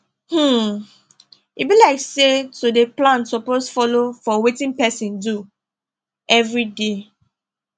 um e be like say to dey plan suppose follow for wetin person do everyday